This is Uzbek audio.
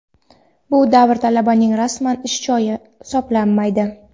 Bu davr talabaning rasman ish joyi hisoblanmaydi.